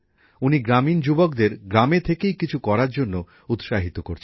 উনি গ্রামীণ যুবকদের গ্রামে থেকেই কিছু করার জন্য উৎসাহিত করছেন